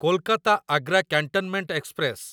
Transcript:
Kolkata Agra cantonment express